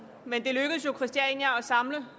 men det lykkedes jo christiania at samle